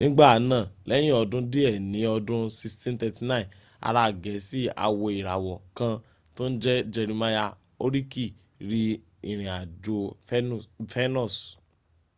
nigbanaa lẹyin ọdun diẹ ni ọdun 1639 ara gẹẹsi awoirawọ kan to n jẹ jerimaya horiki ri irin ajo fenus